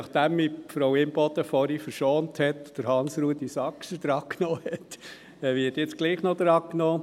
Nachdem mich Frau Imboden vorhin verschont hat – sie hat Hans-Rudolf Saxer drangenommen –, werde ich jetzt trotzdem noch drangenommen.